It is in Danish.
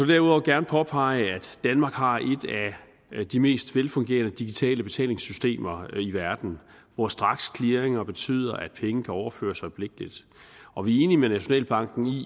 derudover gerne påpege at danmark har et af de mest velfungerende digitale betalingssystemer i verden hvor straksclearinger betyder at penge kan overføres øjeblikkeligt og vi er enige med nationalbanken i